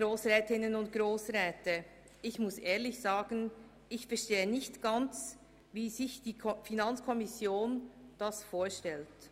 Ich verstehe nicht ganz, wie sich die FiKo das vorstellt.